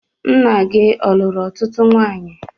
Nna gị ọ luru ọtụtụ nwanyị?